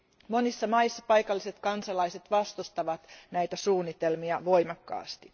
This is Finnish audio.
Monissa maissa paikalliset kansalaiset vastustavat näitä suunnitelmia voimakkaasti.